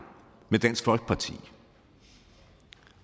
med dansk folkeparti